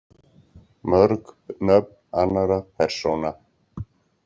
Mörg nöfn annarra persóna.